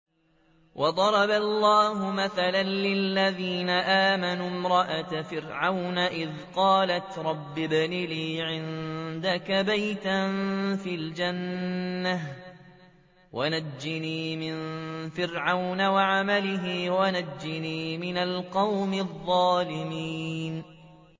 وَضَرَبَ اللَّهُ مَثَلًا لِّلَّذِينَ آمَنُوا امْرَأَتَ فِرْعَوْنَ إِذْ قَالَتْ رَبِّ ابْنِ لِي عِندَكَ بَيْتًا فِي الْجَنَّةِ وَنَجِّنِي مِن فِرْعَوْنَ وَعَمَلِهِ وَنَجِّنِي مِنَ الْقَوْمِ الظَّالِمِينَ